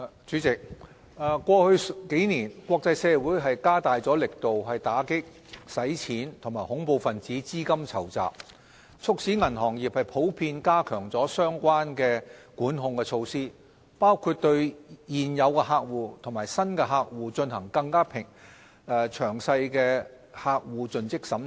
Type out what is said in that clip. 主席，過去數年，國際社會加大力度打擊洗錢及恐怖分子資金籌集，促使銀行業普遍加強了相關的管控措施，包括對現有客戶及新客戶進行更詳細的客戶盡職審查。